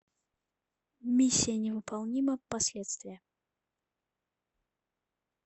миссия невыполнима последствия